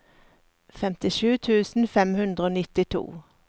femtisju tusen fem hundre og nittito